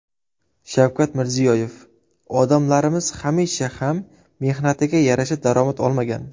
Shavkat Mirziyoyev: Odamlarimiz hamisha ham mehnatiga yarasha daromad olmagan.